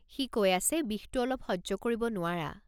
সি কৈ আছে বিষটো অলপ সহ্য কৰিব নোৱাৰা।